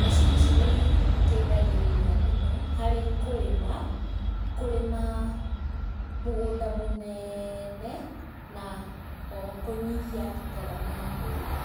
macini ici nĩ iteithagĩrĩria mũno harĩ kũrĩma, kũrĩma mũgũnda mũnene, na o ho kũnyihia ngarama ya ũrĩmi.